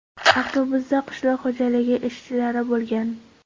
Avtobusda qishloq xo‘jaligi ishchilari bo‘lgan.